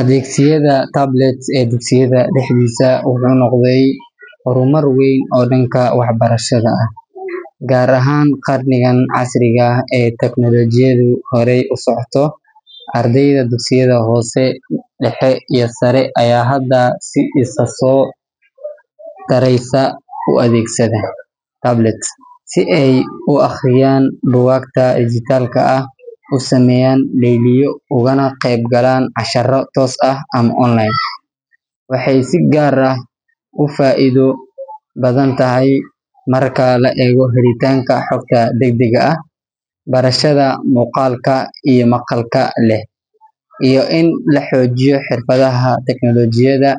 Adeegsiga tablets ee dugsiyada dhexdiisa wuxuu noqday horumar weyn oo dhanka waxbarashada ah, gaar ahaan qarnigan casriga ah ee tiknoolajiyadu horay u socoto. Ardayda dugsiyada hoose, dhexe iyo sare ayaa hadda si isa soo taraysa u adeegsada tablets si ay u akhriyaan buugaagta dhijitaalka ah, u sameeyaan layliyo, ugana qaybgalaan casharro toos ah ama online. Waxay si gaar ah u faa'iido badan u tahay marka la eego helitaanka xogta degdegga ah, barashada muuqaalka iyo maqalka leh, iyo in la xoojiyo xirfadaha tiknoolajiyadda.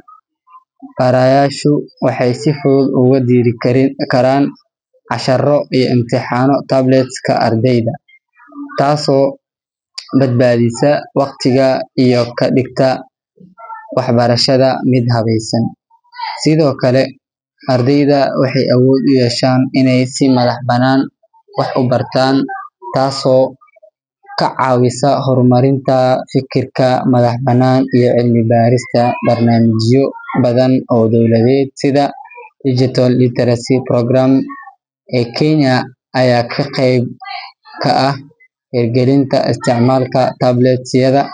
Barayaashu waxay si fudud ugu diri karaan casharro iyo imtixaano tablet-ka ardayda, taasoo badbaadisa waqtiga iyo ka dhigta waxbarashada mid habaysan. Sidoo kale, ardayda waxay awood u yeeshaan inay si madax-bannaan wax u bartaan, taasoo ka caawisa horumarinta fikirka madax-bannaan iyo cilmi baarista. Barnaamijyo badan oo dowladeed sida Digital Literacy Programme ee Kenya ayaa qeyb ka ah hirgelinta isticmaalka tablet-yada.